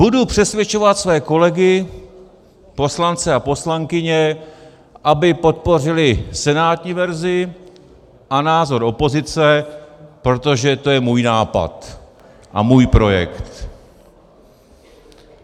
- Budu přesvědčovat své kolegy, poslance a poslankyně, aby podpořili senátní verzi a názor opozice, protože to je můj nápad a můj projekt.